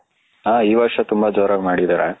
ಹ ಈ ವರ್ಷ ತುಂಬಾ ಜೋರಾಗಿ ಮಾಡಿದರೆ .